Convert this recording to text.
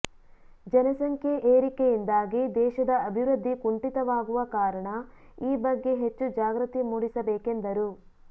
ಜನಸಂಖ್ಯೆ ಏರಿಕೆಯಿಂದಾಗಿ ದೇಶದ ಅಭಿವೃದ್ಧಿ ಕುಂಟಿತವಾಗುವ ಕಾರಣ ಈ ಬಗ್ಗೆ ಹೆಚ್ಚು ಜಾಗೃತಿ ಮೂಡಿಸಬೇಕೆಂದರು